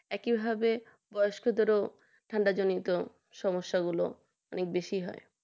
একইভাবে বয়স্কদেরও ঠান্ডা জনিত সমস্যাগুলো অনেক বেশি হয়